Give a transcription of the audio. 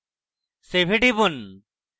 save এ টিপুন